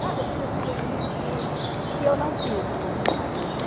Sabe assim esse envolvimento mesmo que eu não tive com o meu marido?